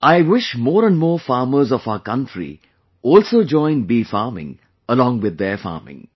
I wish more and more farmers of our country to join bee farming along with their farming